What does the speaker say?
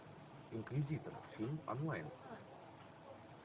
инквизитор фильм онлайн